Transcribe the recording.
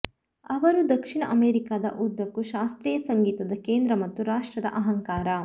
ಅವರು ದಕ್ಷಿಣ ಅಮೆರಿಕಾದ ಉದ್ದಕ್ಕೂ ಶಾಸ್ತ್ರೀಯ ಸಂಗೀತದ ಕೇಂದ್ರ ಮತ್ತು ರಾಷ್ಟ್ರದ ಅಹಂಕಾರ